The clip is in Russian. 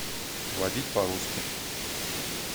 водить по русски